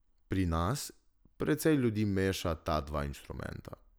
Pri nas precej ljudi meša ta dva inštrumenta.